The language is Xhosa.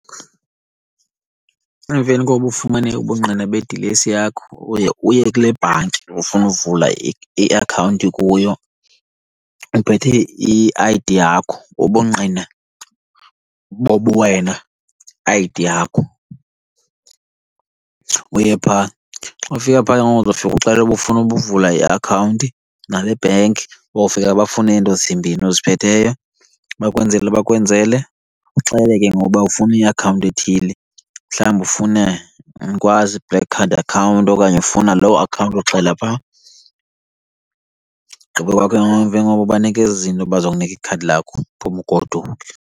Emveni kokuba ufumane ubungqina bedilesi yakho uye uye kule bhanki ufuna uvula iakhawunti kuyo uphethe i-I_D yakho, ubungqina bobuwena, i-I_D yakho, uye phaa. Xa ufika phaa ke ngoku uzofika uxele uba ufuna ukuvula iakhawunti nale bhenki. Bofika bafune ezi nto zimbini uziphetheyo, bakwenzele, bakwenzele. Uxele ke ngoku uba ufuna iakhawunti ethile, mhlawumbi ufuna andikwazi i-black card account okanye ufuna loo account, uxela phaa. Ugqiba kwakho ke ngoku emveni koba ubanike ezi zinto baza kunika ikhadi lakho uphume ugoduke.